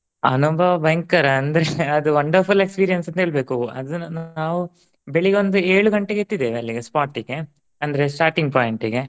ಅನುಭವ ಬಯಂಕರ ಅಂದ್ರೆ ಅದು wander full experience ಅಂತ ಹೇಳಬೇಕು ಆ ದಿನಾನ ನಾವು ಬೇಳಗ್ಗೆ ಒಂದ್ ಎಳಗಂಟೆಗೇ ಎತ್ತಿದ್ದೇವೆ ಅಲ್ಲಿಗೆ spot ಗೆ ಅಂದ್ರೆ starting point ಗೆ.